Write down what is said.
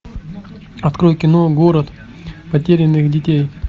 открой кино город потерянных детей